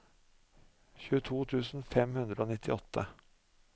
tjueto tusen fem hundre og nittiåtte